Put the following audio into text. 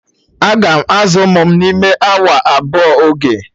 Aga m azụ ụmụ m n'ime awa abụọ oge.